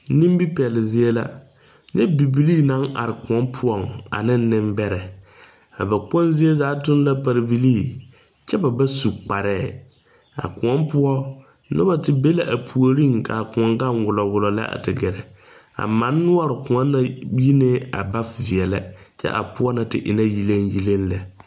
Nimi pɛli zie la. Nyɛ bibilii naŋ are koɔ poʊŋ ane nebɛrɛ. A ba kpong zie zaa tuŋ la pare bilii. Kyɛ ba ba su kparɛ. A koɔ poʊ, noba te be la a pooreŋ ka a koɔ gaŋ wulowulo lɛ a te gɛrɛ. A man nuore koɔ na yinɛ a ba viɛlɛ. Kyɛ a poʊ na te e la yileŋyileŋ lɛ.